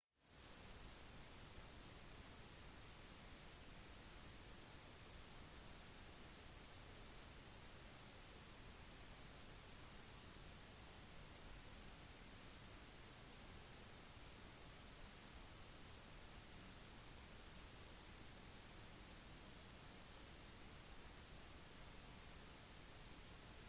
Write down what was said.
stardust kommer til å sette ny rekord for å være det raskeste romskipet til å returnere til jorden og bryte den tidligere rekorden som ble satt i mai 1969 under returen av apollo x-kommandomodulen